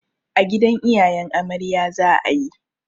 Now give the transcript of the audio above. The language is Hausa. A gidan iyayen amarya za a yi.